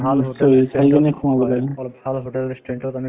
অলপ ভাল hotel restaurant তত আমি